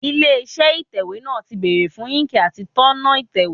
Ilé iṣẹ́ ìtẹ̀wẹ́ náà ti bèrè fún íńkì àti tónà ìtẹ̀wẹ́.